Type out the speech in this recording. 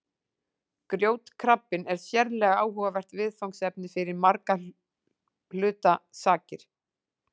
Grjótkrabbinn er sérlega áhugavert viðfangsefni fyrir margra hluta sakir.